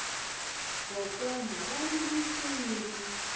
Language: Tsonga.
kwokwani va rima nsimu